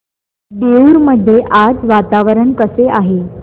देऊर मध्ये आज वातावरण कसे आहे